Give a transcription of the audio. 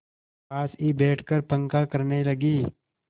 पास ही बैठकर पंखा करने लगी